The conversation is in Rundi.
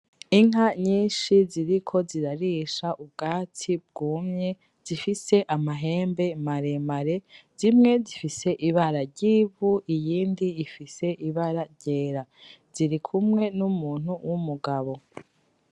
Inka nyinshi ziriko zirarisha ubwatsi bwumye zifise amahembe maremare. Zimwe zifise ibara ry'ivu, iyindi ifise ibara ryera. Zirikumwe n'umuntu w'umugabo